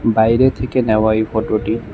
বাইরে থেকে নেওয়া এই ফটোটি।